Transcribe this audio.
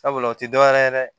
Sabula o ti dɔwɛrɛ ye dɛ